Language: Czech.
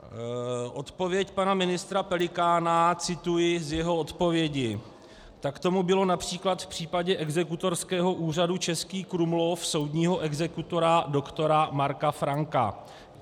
Odpověď pana ministra Pelikána - cituji z jeho odpovědi: Tak tomu bylo například v případě Exekutorského úřadu Český Krumlov soudního exekutora doktora Marka Franka.